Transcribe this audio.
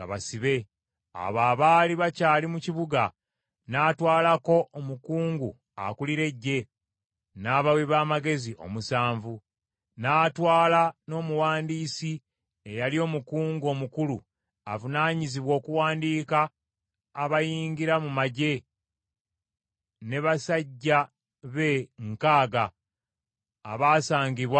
Abo abaali bakyali mu kibuga, n’atwalako omukungu akulira eggye, n’abawi b’amagezi omusanvu. N’atwala n’omuwandiisi eyali omukungu omukulu avunaanyizibwa okuwandiika abayingira mu magye ne basajja be nkaaga abaasangibwa mu kibuga.